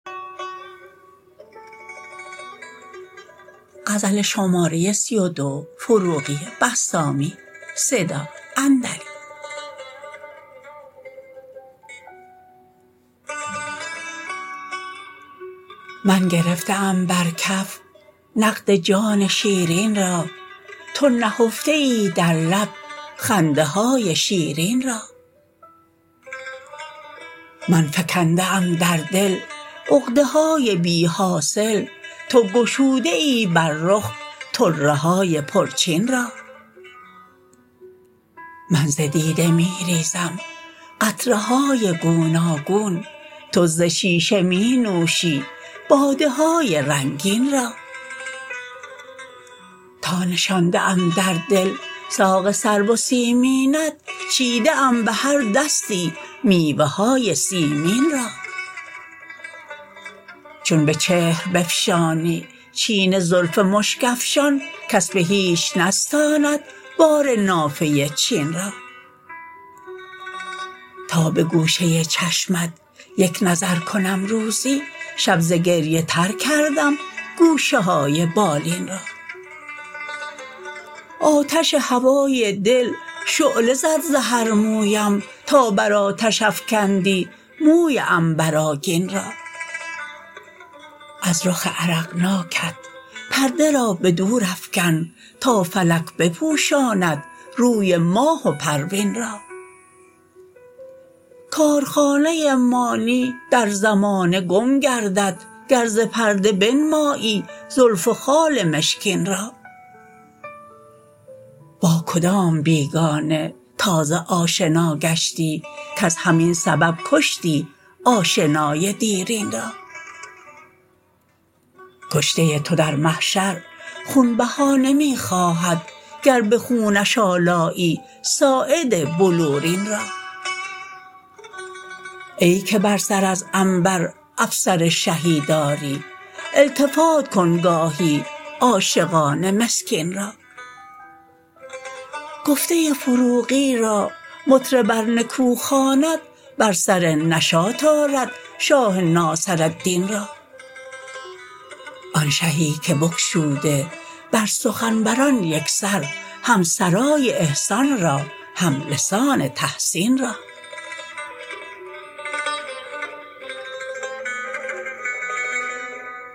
من گرفته ام بر کف نقد جان شیرین را تو نهفته ای در لب خنده های شیرین را من فکنده ام در دل عقده های بی حاصل تو گشوده ای بر رخ طره های پرچین را من ز دیده می ریزم قطره های گوناگون تو زشیشه می نوشی باده های رنگین را تا نشانده ام در دل ساق سرو و سیمینت چیده ام به هر دستی میوه های سیمین را چون به چهر بفشانی چین زلف مشک افشان کس به هیچ نستاند بار نافه چین را تا به گوشه چشمت یک نظر کنم روزی شب ز گریه تر کردم گوشه های بالین را آتش هوای دل شعله زد ز هر مویم تا بر آتش افکندی موی عنبر آگین را از رخ عرقناکت پرده را به دور افکن تا فلک بپوشاند روی ماه و پروین را کارخانه مانی در زمانه گم گردد گر ز پرده بنمایی زلف و خال مشکین را با کدام بیگانه تازه آشنا گشتی کز همین سبب کشتی آشنای دیرین را کشته تو در محشر خون بها نمی خواهد گر به خونش آلایی ساعد بلورین را ای که بر سر از عنبر افسر شهی داری التفات کن گاهی عاشقان مسکین را گفته فروغی را مطرب ار نکو خواند بر سر نشاط آرد شاه ناصرالدین را آن شهی که بگشوده بر سخن وران یک سر هم سرای احسان را هم لسان تحسین را